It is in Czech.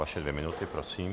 Vaše dvě minuty, prosím.